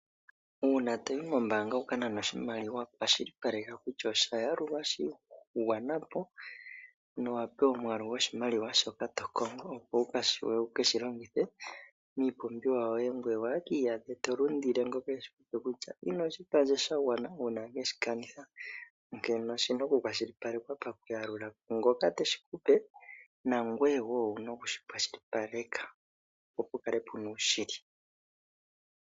Uuna toyi mombaanga wuka nane oshimaliwa kwashilipaleka kutya osha yalulwa sha gwanapo no wapewa omwaalu gwoshimaliwa shoka to kongo opo wushiwe wu keshi longithe miipumbiwa yoye, ngoye ku iyadhe to lundile ngoka eahikupa kutya inoshipewa sha gwana uuna weshi kanitha . Onkene oshina oku kwashilipalekwa pakuyalulwa kwaangoka teshi kupe nangoye woo owuna okushi kwashilipaleka opo pulale puna oshili .